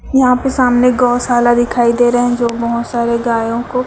यहां पे सामने गौशाला दिखाई दे रहे हैं जो बहुत सारे गायों को--